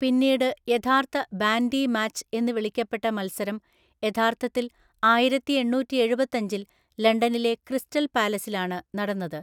പിന്നീട് യഥാർത്ഥ bandy match എന്ന് വിളിക്കപ്പെട്ട മത്സരം യഥാർത്ഥത്തിൽ ആയിരത്തിഎണ്ണൂറ്റിഎഴുപത്തഞ്ചില്‍ ലണ്ടനിലെ ക്രിസ്റ്റൽ പാലസിലാണ് നടന്നത്.